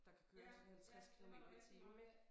Der kan køre sådan 50 kilometer i timen ik